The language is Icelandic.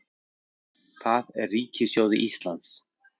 Það er ríkissjóði Íslands